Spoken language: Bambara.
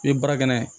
I ye baara kɛ n'a ye